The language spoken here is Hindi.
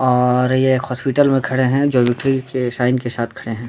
और ये एक हॉस्पिटल में खड़े हैं जो विक्टरी के साइन के साथ खड़े हैं ।